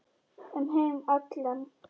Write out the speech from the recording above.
Um heim allan.